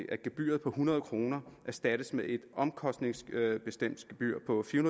at gebyret på hundrede kroner erstattes med et omkostningsbestemt gebyr på fire